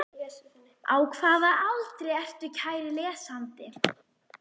Á hvaða aldri ertu kæri lesandi?